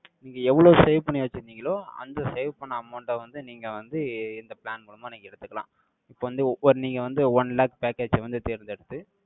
நீங்க எவ்வளவு save பண்ணி வெச்சிருந்தீங்களோ, அந்த save பண்ண amount அ வந்து, நீங்க வந்து, இந்த plan மூலமா, நீங்க எடுத்துக்கலாம். இப்ப வந்து, நீங்க வந்து, one lakh package அ வந்து, தேர்ந்தெடுத்து,